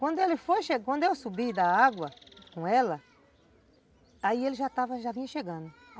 Quando ele foi chegando, quando eu subi da água com ela, aí ele já estava, já vinha chegando.